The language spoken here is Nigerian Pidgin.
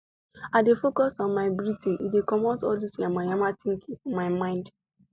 i dey focus on my breathing e dey comot all dos yamamaya thinking for my mind